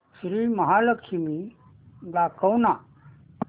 श्री महालक्ष्मी दाखव ना